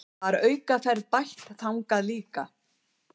Var aukaferð bætt þangað líka